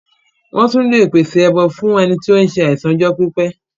Wọ́n tún lè pèsè ẹbọ fún ẹni tí ó ń se àìsàn fún ọjọ́ pípẹ́.